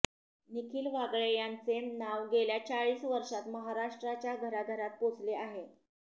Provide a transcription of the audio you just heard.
निखिल वागळे यांचे नाव गेल्या चाळीस वर्षांत महाराष्ट्राच्या घराघरात पोचले आहे